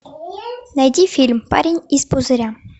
найди фильм парень из пузыря